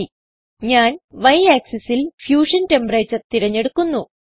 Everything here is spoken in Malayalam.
Y ഞാൻ Y axisൽ ഫ്യൂഷൻ ടെമ്പറേച്ചർ തിരഞ്ഞെടുക്കുന്നു